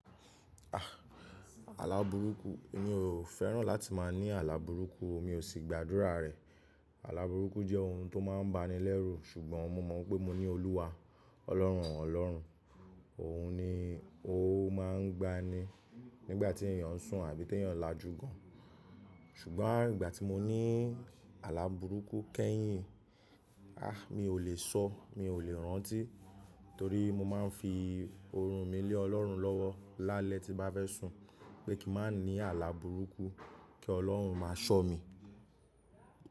À, àla kbùrúkù, mí ò fẹ́ràn láti máa ní àla bùrúkù, mi ò ṣì gbàdúrà rẹ̀. Àla bùrúkù jẹ́ ohun tó máa ń ba ni lẹ́rù, ṣùgbọ́n mo mọ̀ pé mo ní Olúwa, Ọlọ́run ọ̀lọ́run, òun ni ó máa ń gba ni nígbà tí èyàn sùn àbí tèyàn lajú gan. Ṣùgbọ́n nígbà tí mo ní àla bùrúkù kẹ́yìn, a mi ò lè sọ, mi ò lè rántí torí mo máa ń fi oorun mi lé ọlọ́run lọ́wọ́ lálẹ́ tí bá fẹ́ sùn pé kí n má ní àla bùrúkù kí ọlọ́run máa ṣọ́ mi.